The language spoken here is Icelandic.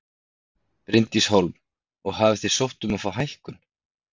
Bryndís Hólm: Og hafið þið sótt um að fá hækkun?